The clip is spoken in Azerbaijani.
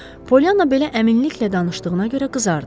Polyana belə əminliklə danışdığına görə qızardı.